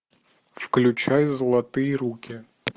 включай золотые руки